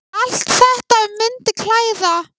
Allt þetta myndi klæða